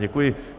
Děkuji.